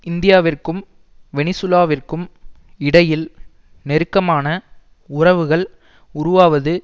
இந்தியாவிற்கும் வெனிசுலாவிற்கும் இடையில் நெருக்கமான உறவுகள் உருவாவது